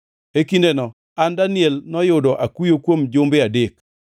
E kindeno, an Daniel, noyudo akuyo kuom jumbe adek,